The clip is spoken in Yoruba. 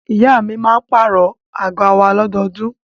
Ìyá mi máa pàrọ̀ àga wa lọ́dọọdún.